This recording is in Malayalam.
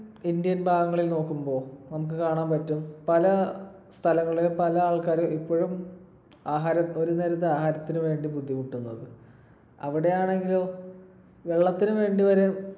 ഇന്ത്യൻ ഭാഗങ്ങളിൽ നോക്കുമ്പോൾ നമുക്ക് കാണാൻ പറ്റും പല സ്ഥലങ്ങളിലും പല ആൾക്കാരും ഇപ്പോഴും ആഹാര ~ ഒരു നേരത്തെ ആഹാരത്തിന് വേണ്ടി ബുദ്ധിമുട്ടുന്നത്. അവിടെയാണെങ്കിലോ വെള്ളത്തിന് വേണ്ടി വരെ